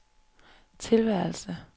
tilværelse